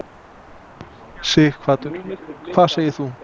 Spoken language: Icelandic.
Sighvatur: Hvað segir þú?